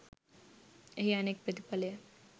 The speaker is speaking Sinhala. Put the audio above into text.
එහි අනෙක් ප්‍රතිඵලය